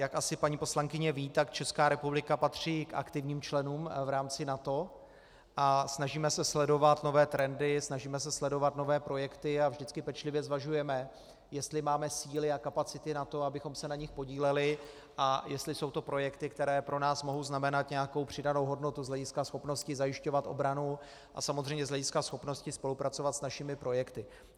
Jak asi paní poslankyně ví, tak Česká republika patří k aktivním členům v rámci NATO a snažíme se sledovat nové trendy, snažíme se sledovat nové projekty a vždycky pečlivě zvažujeme, jestli máme síly a kapacity na to, abychom se na nich podíleli, a jestli jsou to projekty, které pro nás mohou znamenat nějakou přidanou hodnotu z hlediska schopnosti zajišťovat obranu a samozřejmě z hlediska schopnosti spolupracovat s našimi projekty.